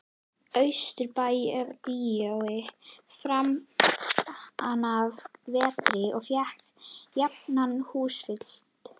Austurbæjarbíói framanaf vetri og fékk jafnan húsfylli.